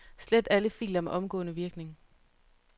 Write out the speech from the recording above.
Slet alle filer med omgående virkning.